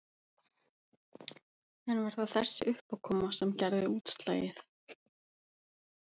En var það þessi uppákoma sem gerði útslagið?